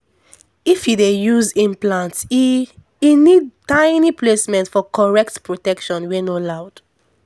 if u dey use implant e e need tiny placement for correct protection wey no loud